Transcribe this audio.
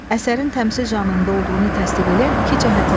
Əsərin təmsil janrında olduğunu təsdiq eləyən iki cəhət yazın.